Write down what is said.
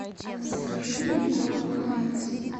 закажи мне корм хайнц